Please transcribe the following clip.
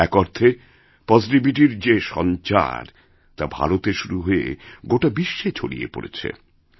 এক অর্থেপজিটিভিটির যে সঞ্চার তা ভারতে শুরু হয়ে গোটা বিশ্বে ছড়িয়ে পড়েছে